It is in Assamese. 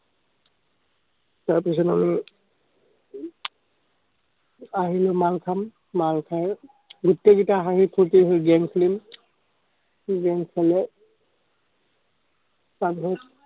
তাৰ পিছত আমি আহিলৈ খাম, খাই গোটেই কেইটা হাঁহি-ফুৰ্তিহৈ game খেলিম।